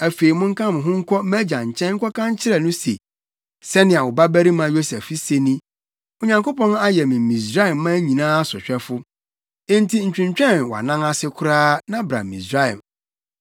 Afei, monka mo ho nkɔ mʼagya nkyɛn nkɔka nkyerɛ no se, ‘Sɛnea wo babarima Yosef se ni, Onyankopɔn ayɛ me Misraiman nyinaa sohwɛfo. Enti ntwentwɛn wʼanan ase koraa, na bra Misraim!